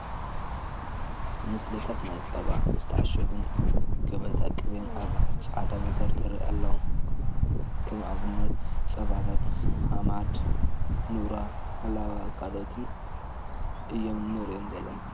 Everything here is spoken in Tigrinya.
ምስልታት ናይ ፀባ ዝተዓሸጉን ገበታ ቅቤን ኣብ ፃዕዳ መደርደሪ ኣለዎ። ከም ኣብነት ፀባታት ሃማድ፣ ኑራ ፣ሃላዋ ካልኦትን እዮም ንሪኦም ዘለና።